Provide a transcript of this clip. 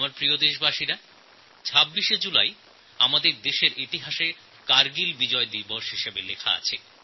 আমার প্রিয় দেশবাসী ২৬শে জুলাই দিনটি আমাদের দেশের ইতিহাসে কারগিল বিজয় দিবস হিসাবে চিহ্নিত হয়ে আছে